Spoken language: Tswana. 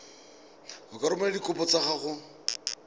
ka romela dikopo tsa gago